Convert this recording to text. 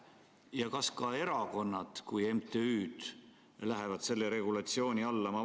Ja kas ka erakonnad kui MTÜ-d lähevad selle regulatsiooni alla?